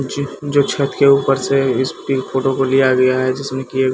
जी जो छत के ऊपर से इस पिंक फोटो को लिया गया है जिसमें की ए--